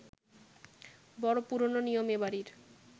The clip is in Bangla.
বড় পুরোনো নিয়ম এ বাড়ির